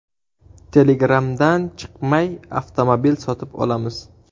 Telegram’dan chiqmay, avtomobil sotib olamiz.